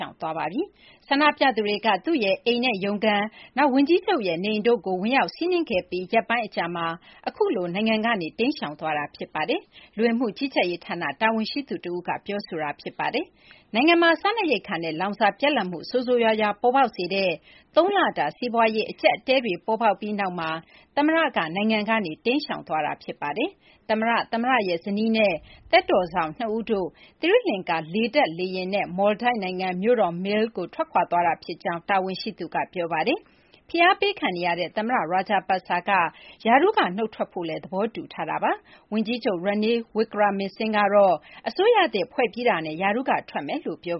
ောင်သွားပါပြီ။ ဆန္ဒပြသူတွေက သူ့ရဲ့ အိမ်နဲ့ ရုံးခန်း၊ နောက် ဝန်ကြီးချုပ်ရဲ့ နေအိမ်တို့ကို ဝင်ရောက်စီးနင်းခဲ့ပြီး ရက်ပိုင်း အကြာမှာ အခုလို နိုင်ငံကနေ ထွက်ခွာသွားတာ ဖြစ်ပါတယ်။ လူဝင်မှု ကြီးကြပ်ရေး ဌာန တာဝန်ရှိသူ တဦးက အခုလို ပြောဆိုတာ ဖြစ်ပါတယ်။ နိုင်ငံမှာ စားနပ်ရိက္ခာနဲ့ လောင်စာ ပြတ်လပ်မှု ဆိုးဆိုးရွားရွား ပေါ်ပေါက်စေတဲ့ သုံးလတာ စီးပွားရေး အကျပ်အတည်းတွေ ဖြစ်ပြီးနောက်မှာ သမ္မတက နိုင်ငံကနေ ထွက်ခွာတာလည်း ဖြစ်ပါတယ်။ သမ္မတ၊ သမ္မတရဲ့ ဇနီးနဲ့ သက်တော်စောင့် ၂ ဦးတို့ သီရိလကာၤ လေတပ် လေယာဉ်နဲ့ မော်လ်ဒိုက်နိုင်ငံ မြို့တော် Male ကို ထွက်ခွာသွားတာ ဖြစ်ကြောင်း တာဝန်ရှိသူက ပြောပါတယ်။ ဖိအားပေးခံနေရတဲ့ သမ္မတ Rajapaksa က ရာထူးက နုတ်ထွက်ဖို့ သဘောတူထားတာပါ။ ဝန်ကြီးချုပ် Ranil Wickremesinghe ကတော့ အစိုးရသစ် ဖွဲ့ပြီးတာနဲ့ ရာထူးက နုတ်ထွက်မယ်လို့ ပြော